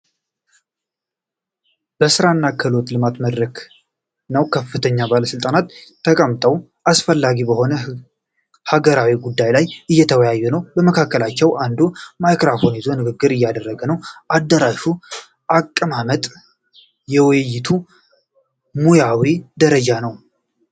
የሥራና ክህሎት ልማት መድረክን ነው። ከፍተኛ ባለሥልጣናት ተቀምጠው አስፈላጊ በሆኑ ሀገራዊ ጉዳዮች ላይ እየተወያዩ ነው። ከመካከላቸው አንዱ ማይክራፎን ይዞ ንግግር እያደረገ ነው። የአዳራሹ አቀማመጥ የውይይቱን ሙያዊ ደረጃ ነው።